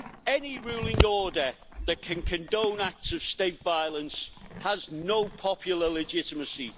Any ruling order that can condone acts of state violence has no popular legitimacy.